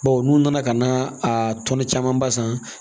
Bawo n'u nana ka na a tɔnɔ camanba san